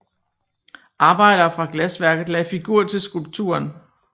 Arbejdere fra glasværket lagde figur til skulpturen